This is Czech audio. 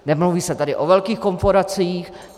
Nemluví se tady o velkých korporacích.